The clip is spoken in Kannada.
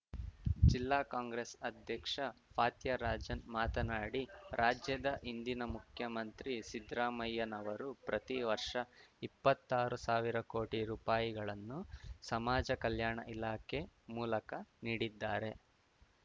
ಜಿಲ್ಲಾ ಕಾಂಗ್ರೆಸ್‌ ಅಧ್ಯಕ್ಷ ಫಾತ್ಯರಾಜನ್‌ ಮಾತನಾಡಿ ರಾಜ್ಯದ ಹಿಂದಿನ ಮುಖ್ಯಮಂತ್ರಿ ಸಿದ್ದರಾಮಯ್ಯನವರು ಪ್ರತಿ ವರ್ಷ ಇಪ್ಪತ್ತಾರು ಸಾವಿರ ಕೋಟಿ ರುಪಾಯಿಗಳನ್ನು ಸಮಾಜ ಕಲ್ಯಾಣ ಇಲಾಖೆ ಮೂಲಕ ನೀಡಿದ್ದಾರೆ